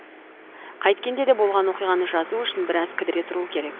қайткенде де болған оқиғаны жазу үшін біраз кідіре тұру керек